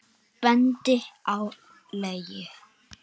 Bendir á leiðir.